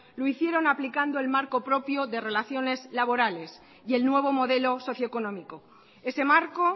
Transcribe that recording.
lo hicieron aplicando el marco propio de relaciones laborales y el nuevo modelo socio económico ese marco